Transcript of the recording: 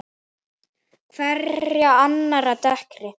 Hverja annarri dekkri.